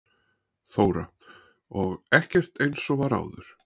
Þóra: Og ekkert eins og var áður?